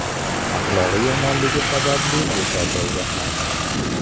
Axloqi yomonligi sababli bo‘shatildi ham.